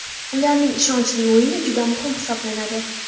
Ularning ishonchli o‘yini juda muhim hisoblanadi.